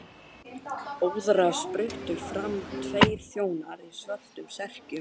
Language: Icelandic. Óðara spruttu fram tveir þjónar í svörtum serkjum.